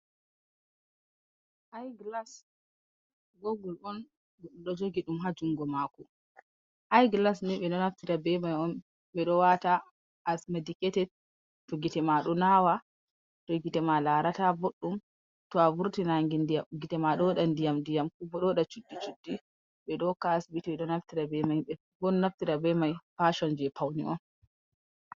I glas gogul on o jogi ɗum goɗɗo ɗo jogi ɗum ha jungo mako. I glas ni ɓe ɗo naftira be mai on ɓe ɗo wata as mediketed to gite ma ɗo nawa, to gite ma larata boɗɗum to a vurti nange gite ma ɗo waɗa ndiyam ndiyam kobo ɗo waɗa cuddi cuddi ɓe ɗo hokka ha asibiti ɓe ɗo naftira be mai boo naftira be mai fashon je pauni on.